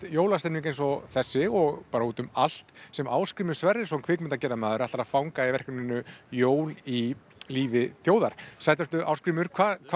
jólastemming eins og þessi og bara út um allt sem Ásgrímur Sverrisson kvikmyndagerðamaður ætlar að fanga í verkefninu jól í lífi þjóðar sæll vertu Ásgrímur